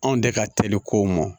Anw de ka teli ko mɔn